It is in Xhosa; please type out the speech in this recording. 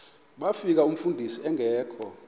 bafika umfundisi engekho